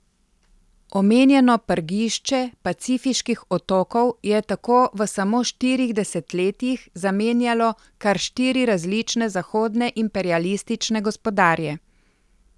Omenjeno prgišče pacifiških otokov je tako v samo štirih desetletjih zamenjalo kar štiri različne zahodne imperialistične gospodarje.